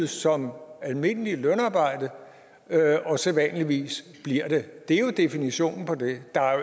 som almindeligt lønarbejde og sædvanligvis bliver det det er jo definitionen på det der er